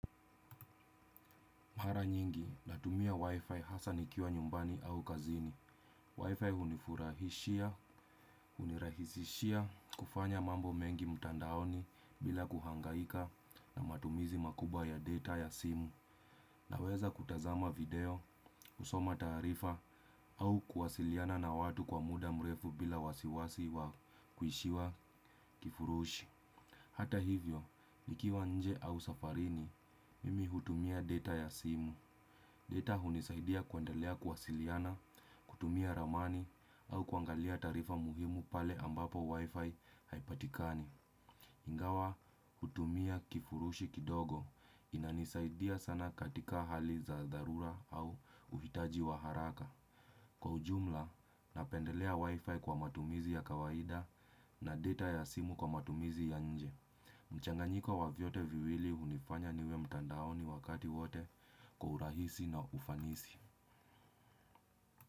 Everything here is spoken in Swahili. Mara nyingi, natumia wifi hasaa nikiwa nyumbani au kazini. Wifi hunifurahishia, hunirahisishia kufanya mambo mengi mtandaoni bila kuhangaika na matumizi makubwa ya data ya simu. Naweza kutazama video, kusoma taarifa au kuwasiliana na watu kwa muda mrefu bila wasiwasi wa kuishiwa kifurushi. Hata hivyo, nikiwa nje au safarini, mimi hutumia data ya simu. Data hunisaidia kuendelea kuwasiliana, kutumia ramani au kuangalia taarifa muhimu pale ambapo wifi haipatikani. Ingawa hutumia kifurushi kidogo inanisaidia sana katika hali za dharura au uhitaji wa haraka. Kwa ujumla, napendelea wifi kwa matumizi ya kawaida na data ya simu kwa matumizi ya nje. Mchanganyiko wa vyote viwili hunifanya niwe mtandaoni wakati wote kwa urahisi na ufanisi.